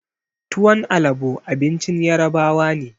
Tuwon alabo abincin ƴarbawa ne.